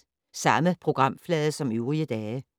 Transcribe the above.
Samme programflade som øvrige dage